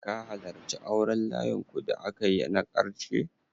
Ka halarci auren layinku da aka yi na ƙarshe?